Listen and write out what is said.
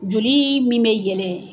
Joli min bɛ yelen.